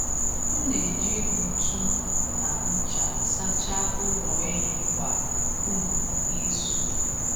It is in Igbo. M na-eji ntu na ncha sachaa ụlọ ehi kwa um izu.